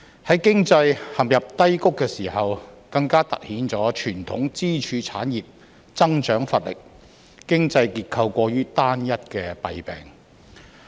在經濟陷入低谷的時候，更凸顯傳統支柱產業增長乏力、經濟結構過於單一的弊病。